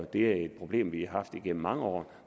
det problem de har haft igennem mange år